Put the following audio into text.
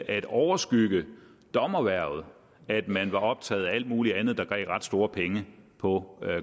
at overskygge dommerhvervet at man var optaget af alt muligt andet der gav ret store penge på